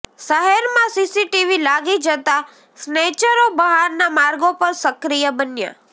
શહેરમાં સીસીટીવી લાગી જતાં સ્નેચરો બહારના માર્ગો પર સક્રિય બન્યા